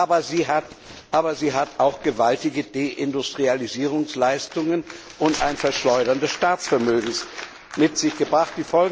Aber sie hat auch gewaltige Deindustrialisierungsleistungen und ein Verschleudern des Staatsvermögens mit sich gebracht.